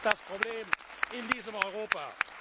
Das ist das Problem in diesem Europa.